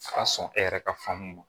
A ka sɔn e yɛrɛ ka faamu ma